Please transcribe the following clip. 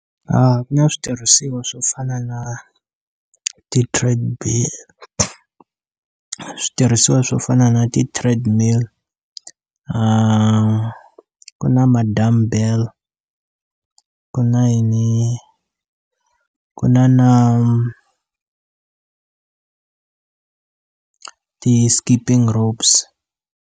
Ku na switirhisiwa swo fana na ti-trade bill switirhisiwa swo fana na ti-treadmill ku na ma-dumbbell ku na yini ku na na ti-skipping ropes.